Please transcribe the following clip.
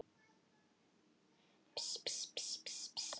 Gróf sig í sandinn og festist